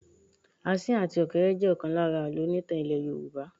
Asín àti ọ̀kéré jẹ ọ̀kan lára àlọ́ onítàn ilẹ́ Yorùbá.